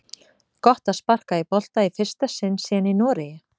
Gott að sparka í bolta í fyrsta sinn síðan í Noregi!